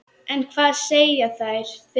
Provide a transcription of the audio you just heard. En hvað segja þeir?